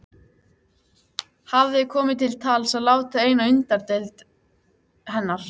Hafði komið til tals að láta eina undirdeild hennar